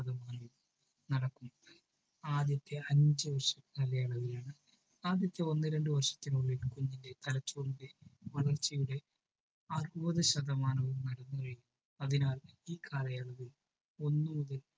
ആദ്യത്തെ അഞ്ചുവർഷ കാലയളവിലാണ്. ആദ്യത്തെ ഒന്നു രണ്ടു വർഷത്തിനുള്ളിൽ കുഞ്ഞിന്റെ തലച്ചോറിന്റെ വളർച്ചയുടെ അറുപതു ശതമാനവും വളർന്നു കഴിയും. അതിനാൽ ഈ കാലയളവിൽ ഒന്നുകൂടി